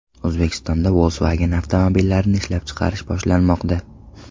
O‘zbekistonda Volkswagen avtomobillarini ishlab chiqarish boshlanmoqda.